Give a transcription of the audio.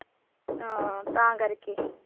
ਹਾਂ ਤਾਂ ਕਰਕੇ